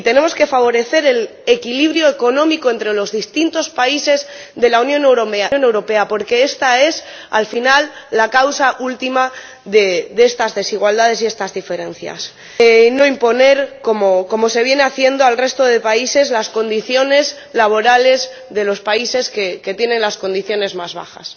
Y tenemos que favorecer el equilibrio económico entre los distintos países de la Unión Europea, porque esta es, al final, la causa última de estas desigualdades y estas diferencias, y no imponer, como se viene haciendo, al resto de países las condiciones laborales de los países que tienen las condiciones más bajas.